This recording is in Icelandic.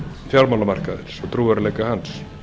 fjármálamarkaðarins og trúverðugleika hans